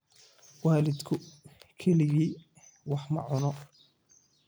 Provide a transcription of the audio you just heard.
Waalidku keligii wax ma cuno.